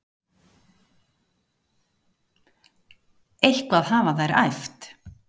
Eitthvað hafa þær æft.